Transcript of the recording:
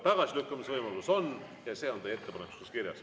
Tagasilükkamise võimalus on ja see on teie ettepanekus kirjas.